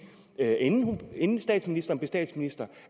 inden statsministeren blev statsminister